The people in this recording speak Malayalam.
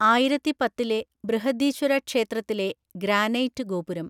ആയിരത്തിപത്തിലെ ബൃഹദീശ്വര ക്ഷേത്രത്തിലെ ഗ്രാനൈറ്റ് ഗോപുരം.